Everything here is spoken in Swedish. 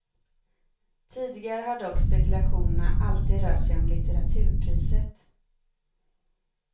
Tidigare har dock spekulationerna alltid rört sig om litteraturpriset.